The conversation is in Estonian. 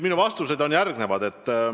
Minu vastused on järgmised.